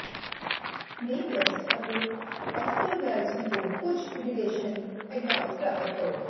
ਮੇ West ਅਤੇ Oscar Wilde ਤੋਂ ਕੁਝ ਰਿਲੇਸ਼ਨ ਐਡਵਾਈਸ ਪ੍ਰਾਪਤ ਕਰੋ